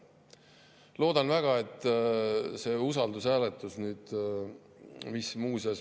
Loodan väga, et see usaldushääletus, mis muuseas …